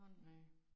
Nej